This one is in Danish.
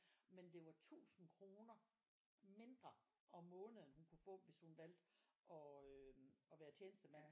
Men det var 1000 kroner mindre om måneden hun kunne få hvis hun valgte og øhm og være tjenestemand